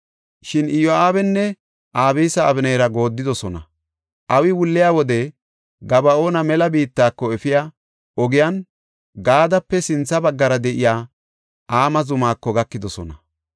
Shin Iyo7aabinne Abisi Abeneera gooddidosona; awi wulliya wode Gaba7oona mela biittako efiya ogiyan Gaadape sintha baggara de7iya Ama zumako gakidosona.